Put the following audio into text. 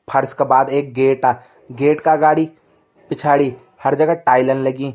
फ़र्स के बाद एक गेटा गेट का अगाड़ी पिछाड़ी हर जगह टाइलन लगीं।